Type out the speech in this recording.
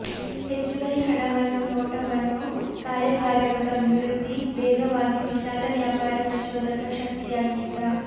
ಹೆಚ್ಚುವರಿ ಹಣವನ್ನು ನೋಟವನ್ನು ಕಾರ್ಯಾಗಾರಗಳು ಅಭಿವೃದ್ಧಿ ವೇಗವಾಗಿ ವಿಶಾಲ ವ್ಯಾಪಾರ ಪ್ರಚೋದಕ ಶಕ್ತಿಯಾಗಿದ್ದ